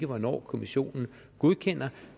hvornår kommissionen godkender